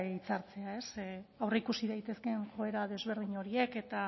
hitzartzea ez aurreikusi daitezkeen joera desberdin horiek